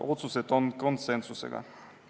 Otsused tehti konsensusega.